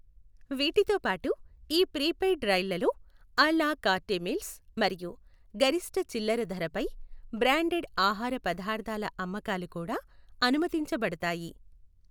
వీటితో పాటు ఈ ప్రీపెయిడ్ రైళ్లలో అ లా కార్టే మీల్స్ మరియు గరిష్ఠ చిల్లర ధరపై బ్రాండెడ్ ఆహార పదార్థాల అమ్మకాలు కూడా అనుమతించబడతాయి.